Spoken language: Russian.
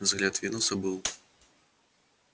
взгляд венуса был